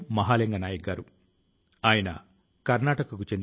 భారతదేశం వాయు సేన ఆదర్శ వాక్యం కూడా ఇదే